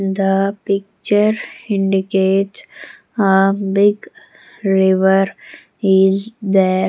the picture indicates a big river is there.